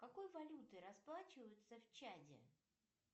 какой валютой расплачиваются в чаде